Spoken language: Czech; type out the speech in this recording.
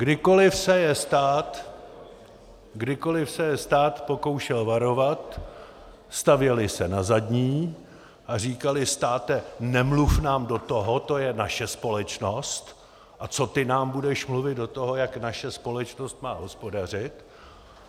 Kdykoliv se je stát pokoušel varovat, stavěli se na zadní a říkali: státe, nemluv nám do toho, to je naše společnost a co ty nám budeš mluvit do toho, jak naše společnost má hospodařit.